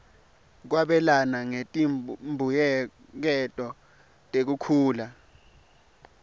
kwabelana ngetimbuyeketo tekukhula